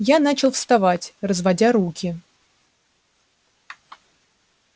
я начал вставать разводя руки